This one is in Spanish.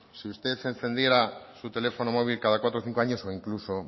si usted encendiera su teléfono móvil cada cuatro o cinco años o incluso